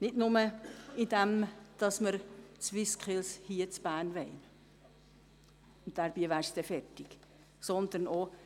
Nicht nur, indem wir die SwissSkills in Bern haben wollen, womit es dann getan wäre.